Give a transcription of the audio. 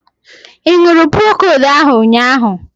Ị ṅụrụ Procold ahu ụnyaahụ?